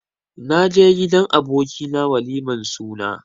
Naje gidan aboki na waliman suna.